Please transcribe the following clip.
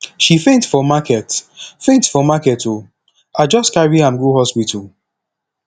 she faint for market faint for market o i just carry am go hospital